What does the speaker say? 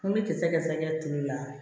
N bɛ kisɛ kɛ sakɛ toli la